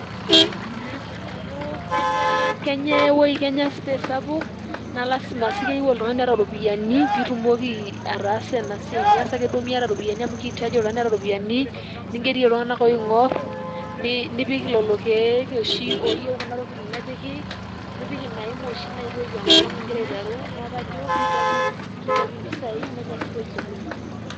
Amu kenya, kenya space sapuk, naa lasima sii keyieu oltung'ani oota ropiyiani piitumoki ataasa ena siai, miyas ake duo miyata ropiyiani amu keitaji oltung'ani oota ropiyiani, ningerie iltung'anak oing'orr, nipik lelo keek oshi ooyieu kuna tokitin nepiki, nipik ina hima oshi naitoip enkolong' igira aiteru neeku kajo kihitaji mpisai nenya space oleng'.